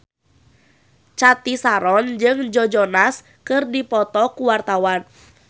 Cathy Sharon jeung Joe Jonas keur dipoto ku wartawan